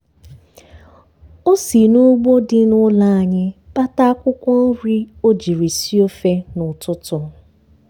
o si n'ugbo dị n'ụlọ anyị kpata akwụkwọ nri o jiri sie ofe n'ụtụtụ.